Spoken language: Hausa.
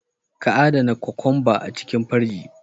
Ka adana kokwamba a cikin firiji.